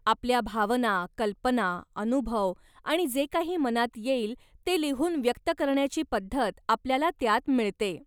आपल्या भावना, कल्पना, अनुभव आणि जे काही मनात येईल ते लिहून व्यक्त करण्याची पद्धत आपल्याला त्यात मिळते.